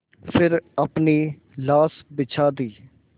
फिर अपनी लाश बिछा दी